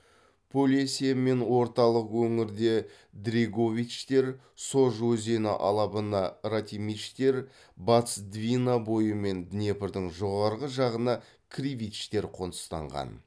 полесье мен орталық өңірде дреговичтер сож өзені алабына радимичтер батыс двина бойы мен днепрдің жоғарғы жағына кривичтер қоныстанған